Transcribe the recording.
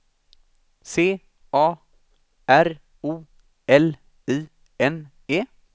C A R O L I N E